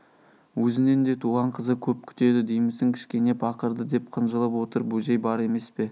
өзінен де туған қызы көп күтеді деймісің кішкене пақырды деп қынжылып отыр бөжей бар емес пе